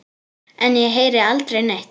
En ég heyri aldrei neitt.